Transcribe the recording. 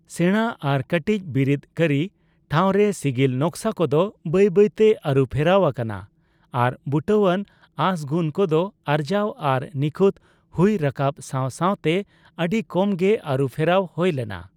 ᱥᱮᱬᱟ ᱟᱨ ᱠᱟᱹᱴᱤᱡ ᱵᱤᱨᱤᱫ ᱠᱟᱹᱨᱤ ᱴᱷᱟᱣᱨᱮ ᱥᱤᱜᱤᱞ ᱱᱚᱠᱥᱟ ᱠᱚᱫᱚ ᱵᱟᱹᱭ ᱵᱟᱹᱭ ᱛᱮ ᱟᱨᱩ ᱯᱷᱮᱨᱟᱣ ᱟᱠᱟᱱᱟ ᱟᱨ ᱵᱩᱴᱟᱹᱣᱟᱱ ᱟᱸᱥ ᱜᱩᱱ ᱠᱚᱫᱚ ᱟᱨᱡᱟᱣ ᱟᱨ ᱱᱤᱠᱷᱩᱛ ᱦᱩᱭ ᱨᱟᱠᱟᱵ ᱥᱟᱣ ᱥᱟᱣᱛᱮ ᱟᱹᱰᱤ ᱠᱚᱢ ᱜᱮ ᱟᱨᱩ ᱯᱷᱮᱨᱟᱣ ᱦᱳᱭ ᱞᱮᱱᱟ ᱾